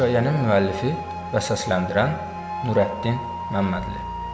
Hekayənin müəllifi və səsləndirən Nurəddin Məmmədli.